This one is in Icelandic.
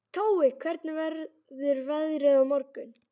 Tói, hvernig verður veðrið á morgun?